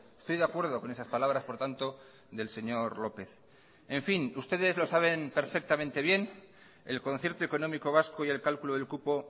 estoy de acuerdo con esas palabras por tanto del señor lópez en fin ustedes lo saben perfectamente bien el concierto económico vasco y el cálculo del cupo